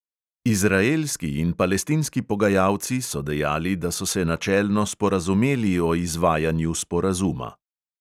Izraelski in palestinski pogajalci so dejali, da so se načelno sporazumeli o izvajanju sporazuma.